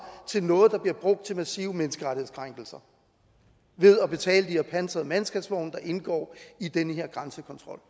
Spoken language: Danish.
til noget der bliver brugt til massive menneskerettighedskrænkelser ved at betale de her pansrede mandskabsvogne der indgår i den her grænsekontrol